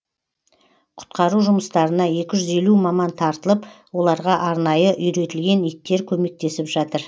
құтқару жұмыстарына екі жүз елу маман тартылып оларға арнайы үйретілген иттер көмектесіп жатыр